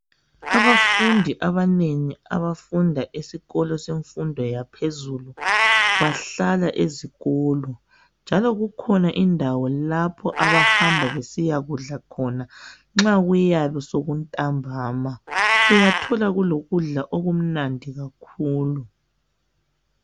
Abafundi abanengi abafunda esikolo semfundo yaphezulu bahlala ezikolo njalo kukhona indawo lapho abahamba besiyakudla khona nxa kuyabe sekuntambana. Uyathola kulokudla okumnandi kakhulu.